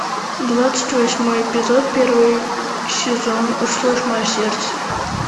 двадцать восьмой эпизод первый сезон услышь мое сердце